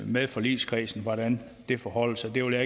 med forligskredsen hvordan det forholder sig det vil